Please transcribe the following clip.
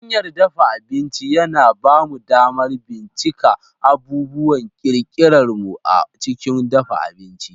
Hanyar dafa abinci yana ba mu damar bincika abubuwan kirkirar mu a cikin dafa abinci.